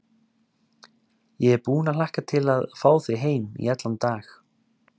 Ég er búin að hlakka til að fá þig heim í allan dag.